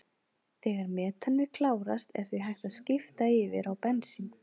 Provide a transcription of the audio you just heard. Þegar metanið klárast er því hægt að skipta yfir á bensín.